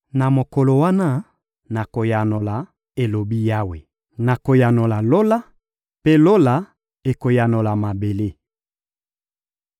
Na mokolo wana, nakoyanola, elobi Yawe, nakoyanola Lola, mpe Lola ekoyanola mabele.